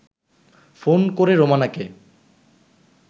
phone করে রোমানাকে